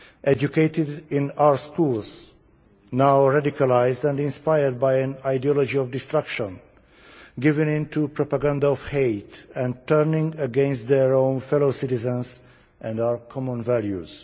educated in our schools, now radicalised and inspired by an ideology of destruction, given into propaganda of hate and turning against their own fellow citizens and our common values.